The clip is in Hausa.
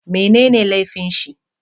Mai ne ne laifin shi?